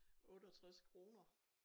68 kroner